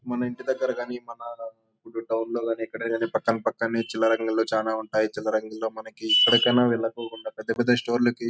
మన ఇంటి దగ్గర గానీ మన టౌన్ లో గానీ ఎక్కడ గానీ పక్కన పక్కనే చిల్లర అంగిల్లు చాలా ఉంటాయి. చిల్లర అంగిల్లో మనకి ఎక్కడికైనా వెళ్లిపోకుండా పెద్ద పెద్ద స్టోర్ లకి--